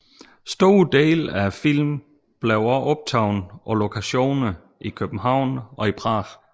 Store dele af filmen blev også optaget på lokationer i København og Prag